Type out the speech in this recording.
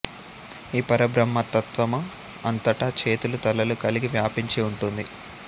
ఈ పరబ్రహ్మతత్వము అంతటా చేతులు తలలు కలిగి వ్యాపించి ఉంటుంది